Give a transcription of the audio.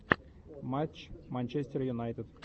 матч манчестер юнайтед